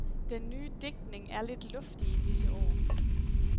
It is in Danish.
Den nye digtning er lidt luftig i disse år.